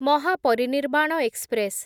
Mahaparinirvan express